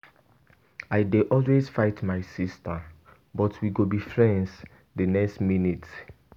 I dey always fight my sister but we go be friends the next minute.